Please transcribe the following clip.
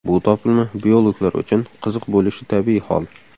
Bu topilma biologlar uchun qiziq bo‘lishi tabiiy hol.